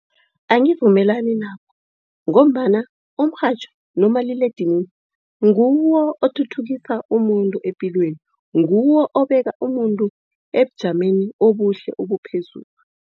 Angivumelani nakho ngombana umrhatjho nomaliledinini nguwo othuthukisa umuntu epilweni. Nguwo obeka umuntu ebujameni obuhle obuphezulu.